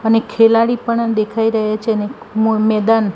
અને ખેલાડી પણ દેખાય રહ્યા છે અને મ-મેદાન--